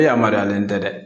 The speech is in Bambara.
E yamaruyalen tɛ dɛ